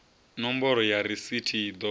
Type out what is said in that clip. nomboro ya rasithi i ḓo